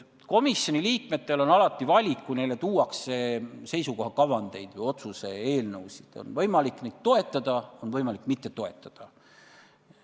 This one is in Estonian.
Komisjoni liikmetel on alati valik, kui neile tuuakse seisukoha kavandeid või otsuse eelnõusid – neil on võimalik neid toetada ja on võimalik mitte toetada.